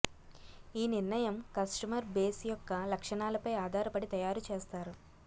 ఈ నిర్ణయం customer base యొక్క లక్షణాలపై ఆధారపడి తయారు చేస్తారు